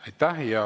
Aitäh!